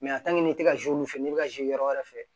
i tɛ ka n'i bɛ ka yɔrɔ wɛrɛ fɛ